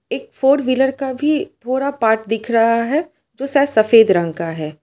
एक four wheeler का भी थोड़ा पार्ट दिख रहा है जो शायद सफेद रंग का है।